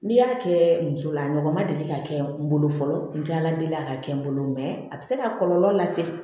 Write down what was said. N'i y'a kɛ muso la a ɲɔgɔn ma deli ka kɛ n bolo fɔlɔ n jala deli ka kɛ n bolo mɛ a bɛ se ka kɔlɔlɔ lase